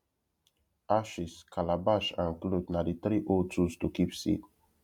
ashes calabash and cloth na the three old tools to keep seed